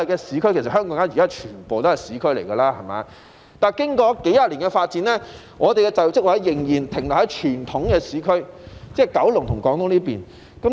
雖然香港現時全部地區都可說是市區，但即使經過數十年的發展，本港的就業職位仍然停留在傳統的市區，即九龍和香港島。